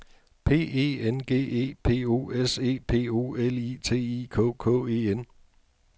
P E N G E P O S E P O L I T I K K E N